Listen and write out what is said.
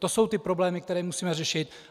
To jsou ty problémy, které musíme řešit.